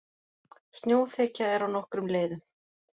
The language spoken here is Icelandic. Snjóþekja er á nokkrum leiðum